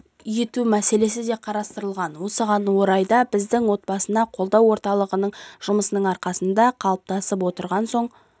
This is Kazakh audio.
ету мәселесі де қарастырылған осы орайда бізде отбасыны қолдау орталығының жұмысының арқасында қалыптасып отырған оң